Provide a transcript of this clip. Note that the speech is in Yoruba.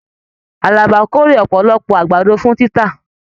Àlàbá k'ore ọpọlọpọ àgbàdo fún títà.